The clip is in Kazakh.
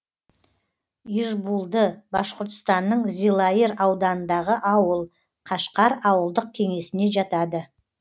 ижбулды башқұртстанның зилайыр ауданындағы ауыл кашкар ауылдық кеңесіне жатады